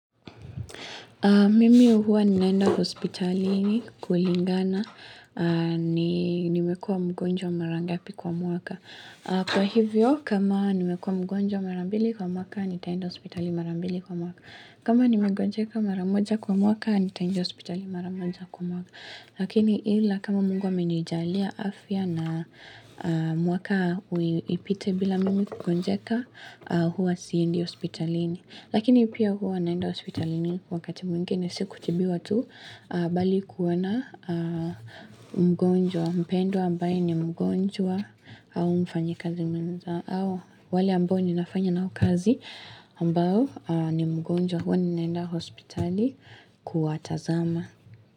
Mimi huwa ninaenda hospitalini kulingana, nimekua mgonjwa marangapi kwa muaka. Kwa hivyo, kama nimekua mgonjwa marambili kwa muaka, nitaenda kuspitali marambili kwa muaka. Kama nimegonjeka maramoja kwa muaka, nitaenda hospitali maramoja kwa muaka. Lakini ila, kama mungu haminijalia afya na mwaka ipite bila mimi kukonjeka, huwa siindi hospitalini. Lakini pia huwa naenda hospitalini wakati mwingine siku tibiwa tu bali kuwana mgonjwa mpendwa ambaye ni mgonjwa au mfanya kazi mwenza au wale ambao ni nafanya na ukazi ambao ni mgonjwa huwa ni naenda hospitali kuatazama.